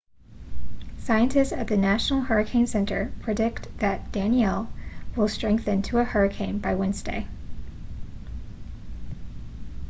scientists at the national hurricane center predict that danielle will strengthen to a hurricane by wednesday